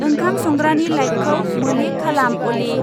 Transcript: ओंखाम संग्रानि लाइटखौ मोले खालाम अली।